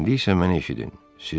İndi isə məni eşidin.